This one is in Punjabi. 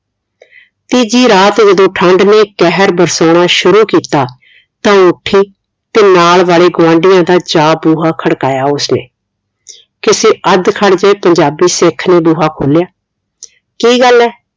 ਤੀਜੀ ਰਾਤ ਜਦੋ ਠੰਡ ਨੇ ਕਹਿਰ ਬਰਸਾਨਾ ਸ਼ੁਰੂ ਕੀਤਾ ਤਾਂ ਉਹ ਉਠੀ ਤੇ ਨਾਲ ਵਾਲੇ ਗੁਆਂਢੀਆਂ ਦਾ ਜਾ ਬੂਹਾ ਖੜਖਾਇਆ ਉਸਨੇ ਕਿਸੇ ਅੱਧ ਖੜਜੇ ਪੰਜਾਬੀ ਸਿੱਖ ਨੇ ਬੂਹਾ ਖੋਲਿਆ ਕੀ ਗੱਲ ਹੈ